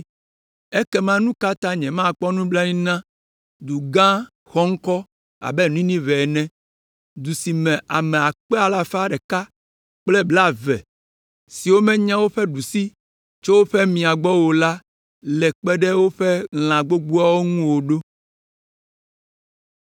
ekema nu ka ta nyemakpɔ nublanui na du gã xɔŋkɔ abe Ninive ene, du si me ame akpe alafa ɖeka kple blaeve siwo menya woƒe ɖusi tso woƒe mia gbɔ o la le kpe ɖe woƒe lã gbogboawo ŋu o ɖo?”